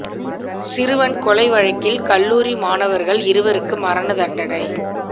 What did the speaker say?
சிறுவன் கொலை வழக்கில் கல்லூரி மாணவர்கள் இருவருக்கு மரண தண்டனை